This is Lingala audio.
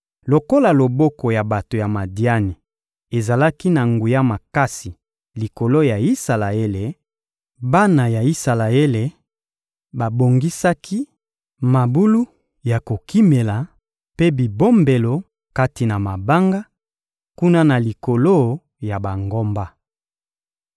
Lokola loboko ya bato ya Madiani ezalaki na nguya makasi likolo ya Isalaele, bana ya Isalaele babongisaki mabulu ya kokimela mpe bibombelo kati na mabanga, kuna na likolo ya bangomba.